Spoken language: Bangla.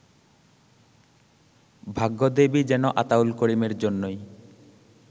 ভাগ্যদেবী যেন আতাউল করিমের জন্যই